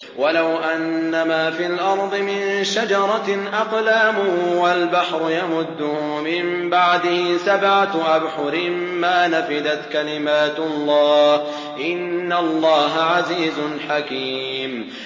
وَلَوْ أَنَّمَا فِي الْأَرْضِ مِن شَجَرَةٍ أَقْلَامٌ وَالْبَحْرُ يَمُدُّهُ مِن بَعْدِهِ سَبْعَةُ أَبْحُرٍ مَّا نَفِدَتْ كَلِمَاتُ اللَّهِ ۗ إِنَّ اللَّهَ عَزِيزٌ حَكِيمٌ